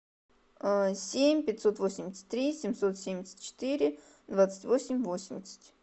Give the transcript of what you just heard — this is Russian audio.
семь пятьсот восемьдесят три семьсот семьдесят четыре двадцать восемь восемьдесят